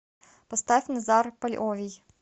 поставь назар польовий